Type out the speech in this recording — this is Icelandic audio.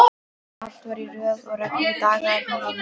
Allt var í röð og reglu, dagarnir eins.